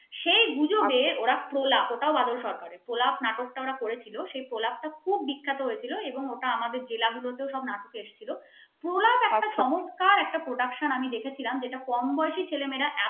এই গুজবে ওরা প্রলাপ বাদল সরকারের প্রলাপ নাটক টা ওরা করেছিল সেই প্রলাপটা খুব বিখ্যাত হয়েছিল এবং ওটা আমাদের জেলাগুলোতে সব নাটক এসেছিল প্রলাপ একটা চমৎকার prouction আমি দেখেছিলাম যেটা কম বয়সী ছেলে মেয়েরা